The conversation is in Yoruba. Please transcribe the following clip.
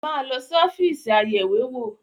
Máa lọ sí ọ́fíìsì Ayẹ̀wé-wò!